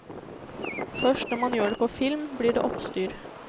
Først når man gjør det på film, blir det oppstyr.